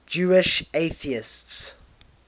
jewish atheists